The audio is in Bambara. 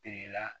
Teri la